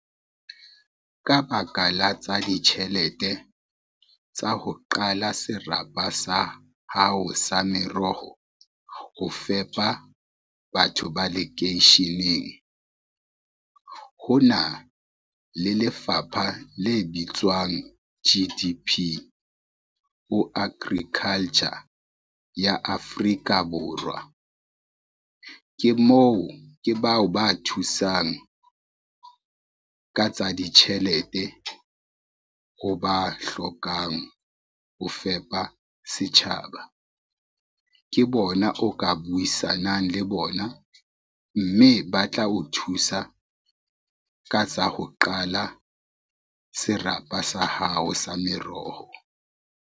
Ka baka la tsa ditjhelete tsa ho qala serapa sa hao sa meroho, ho fepa batho ba lekeisheneng. Ho na le lefapha le bitswang G_D_P ho agriculture ya Afrika Borwa. Ke bao ba thusang, ka tsa ditjhelete ho ba hlokang ho fepa setjhaba. Ke bona o ka buisanang le bona, mme ba tla o thusa ka tsa ho qala serapa sa hao sa meroho.